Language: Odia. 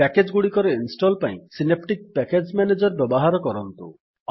ପ୍ୟାକେଜ୍ ଗୁଡିକର ଇନଷ୍ଟଲ୍ ପାଇଁ ସିନେପ୍ଟିକ୍ ପ୍ୟାକେଜ୍ ମ୍ୟାନେଜର୍ ବ୍ୟବହାର କରନ୍ତୁ